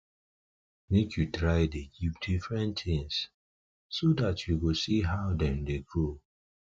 make u try the give different things so that u go see how them the grow